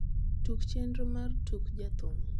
tug chenro mar tuk jathum